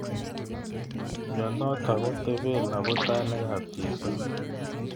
Mnyenotok kotebe abutanik.ab chito.